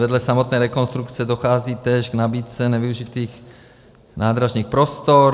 Vedle samotné rekonstrukce dochází též k nabídce nevyužitých nádražních prostor.